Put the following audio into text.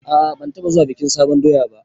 A'a ban taɓa zuwa bikin sabon doya ba